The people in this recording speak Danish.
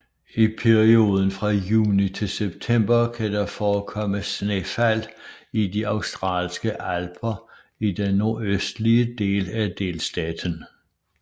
I perioden fra juni til september kan der forekomme snefald i de Australske Alper i den nordøstlige den af delstaten